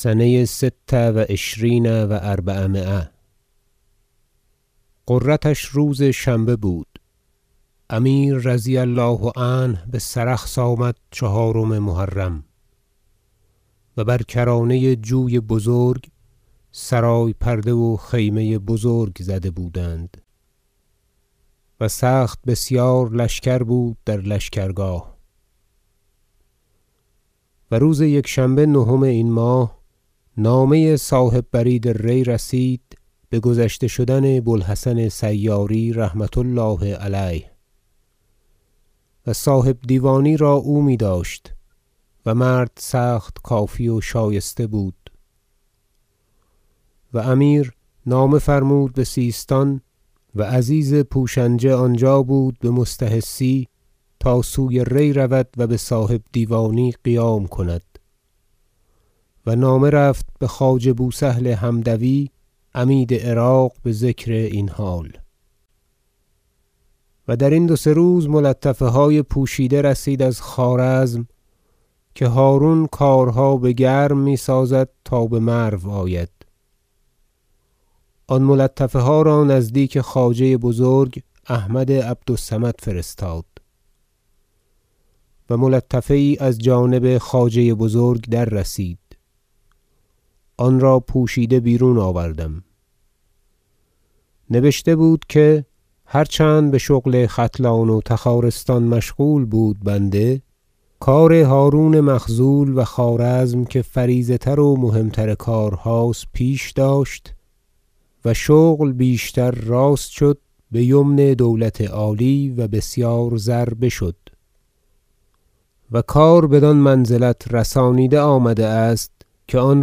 سنه ست و عشرین و اربعمایة غرتش روز شنبه بود امیر رضی الله عنه بسرخس آمد چهارم محرم و بر کرانه جوی بزرگ سرای پرده و خیمه بزرگ زده بودند و سخت بسیار لشکر بود در لشکرگاه و روز یکشنبه نهم این ماه نامه صاحب برید ری رسید بگذشته شدن بوالحسن سیاری رحمة الله علیه و صاحبدیوانی را او میداشت و مرد سخت کافی و شایسته بود و امیر نامه فرمود بسیستان و عزیز پوشنجه آنجا بود یمستحثی تا سوی ری رود و بصاحبدیوانی قیام کند و نامه رفت بخواجه بوسهل حمدوی عمید عراق بذکر این حال و درین دو سه روز ملطفه های پوشیده رسید از خوارزم که هرون کارها بگرم میسازد تا بمرو آید آن ملطفه ها را نزدیک خواجه بزرگ احمد عبد الصمد فرستاد و ملطفه یی از جانب خواجه بزرگ دررسید آن را پوشیده بیرون آوردم نبشته بود که هر چند بشغل ختلان و تخارستان مشغول بود بنده کار هرون مخذول و خوارزم که فریضه تر و مهم تر کارهاست پیش داشت و شغل بیشتر راست شد بیمن دولت عالی و بسیار زر بشد و کار بدان منزلت رسانیده آمده است که آن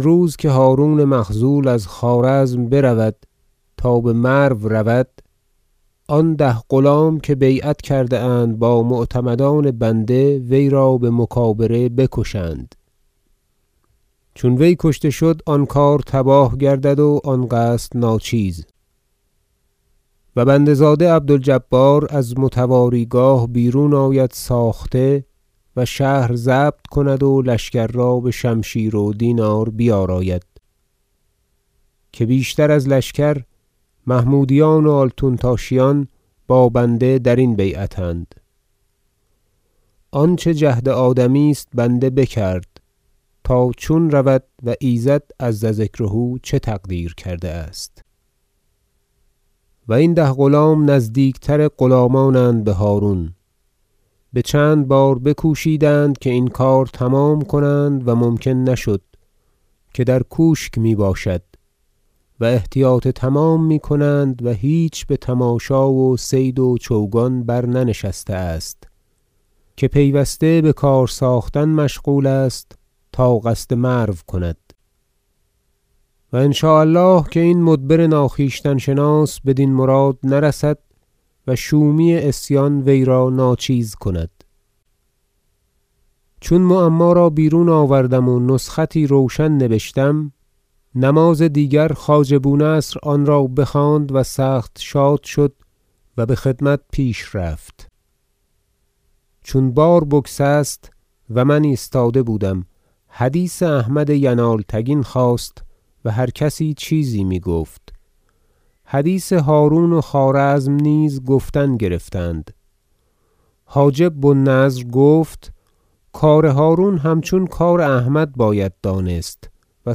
روز که هرون مخذول از خوارزم برود تا بمرو رود آن ده غلام که بیعت کرده اند با معتمدان بنده وی را بمکابره بکشند چون وی کشته شد آن کار تباه گردد و آن قصد ناچیز و بنده زاده عبد الجبار از متواری گاه بیرون آید ساخته و شهر ضبط کند و لشکر را بشمشیر و دینار بیاراید که بیشتر از لشکر محمودیان و آلتونتاشیان با بنده درین بیعت اند آنچه جهد آدمی است بنده بکرد تا چون رود و ایزد عز ذکره چه تقدیر کرده است و این ده غلام نزدیکتر غلامانند به هرون بچند بار بکوشیدند که این کار تمام کنند و ممکن نشد که در کوشک میباشد و احتیاط تمام میکنند و هیچ بتماشا و صید و چوگان برننشسته است که پیوسته بکار ساختن مشغول است تا قصد مرو کند و ان شاء الله که این مدبر ناخویشتن شناس بدین مراد نرسد و شومی عصیان ویرا ناچیز کند چون معما را بیرون آوردم و نسختی روشن نبشتم نماز دیگر خواجه بونصر آن را بخواند و سخت شاد شد و بخدمت پیش رفت چون بار بگسست - و من ایستاده بودم- حدیث احمد ینالتگین خاست و هر کسی چیزی میگفت حدیث هرون و خوارزم نیز گفتن گرفتند حاجب بو النضر گفت کار هرون همچون کار احمد باید دانست و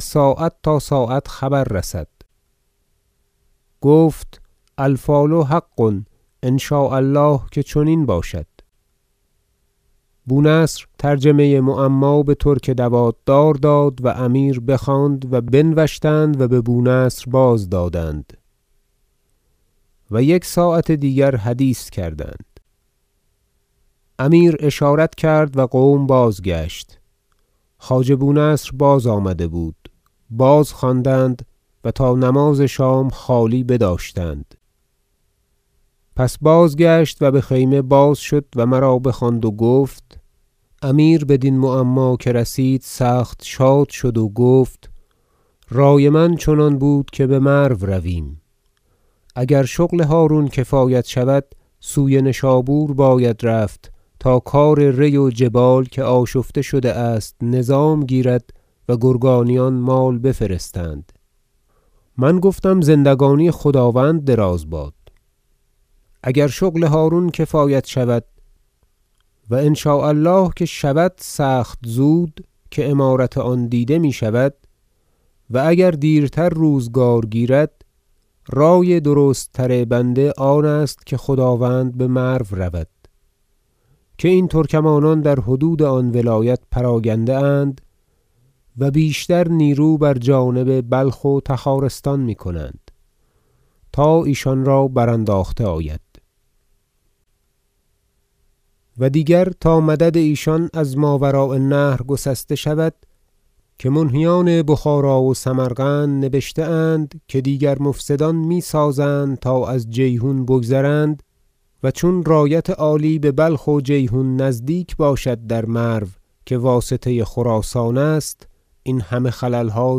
ساعت تا ساعت خبر رسد گفت الفال حق ان شاء الله که چنین باشد بونصر ترجمه معما به ترک دوات دار داد و امیر بخواند و بنوشتند و به بونصر بازدادند و یک ساعت دیگر حدیث کردند امیر اشارت کرد و قوم بازگشت خواجه بونصر بازآمده بود باز خواندند و تا نماز شام خالی بداشتند پس بازگشت و بخیمه بازشد و مرا بخواند و گفت امیر بدین معما که رسید سخت شاد شد و گفت رای من چنان بود که بمرو رویم اگر شغل هرون کفایت شود سوی نشابور باید رفت تا کار ری و جبال که آشفته شده است نظام گیرد و گرگانیان مال بفرستند من گفتم زندگانی خداوند دراز باد اگر شغل هرون کفایت شود و ان شاء الله که شود سخت زود که امارت آن دیده میشود و اگر دیرتر روزگار گیرد رای درست تر بنده آنست که خداوند بمرو رود که این ترکمانان در حدود آن ولایت پراگنده اند و بیشتر نیرو بر جانب بلخ و تخارستان میکنند تا ایشان را برانداخته آید و دیگر تا مدد ایشان از ماوراء النهر گسسته شود که منهیان بخارا و سمرقند نبشته اند که دیگر مفسدان میسازند تا از جیحون بگذرند و چون رایت عالی ببلخ و جیحون نزدیک باشد در مرو که واسطه خراسان است این همه خللها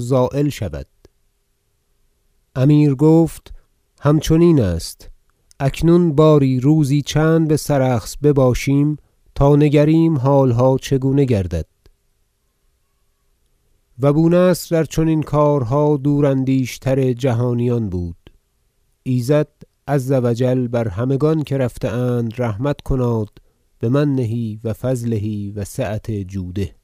زایل شود امیر گفت همچنین است اکنون باری روزی چند بسرخس بباشیم تا نگریم حالها چگونه گردد و بونصر در چنین کارها دوراندیش تر جهانیان بود ایزد عز و جل بر همگان که رفته اند رحمت کناد بمنه و فضله و سعة جوده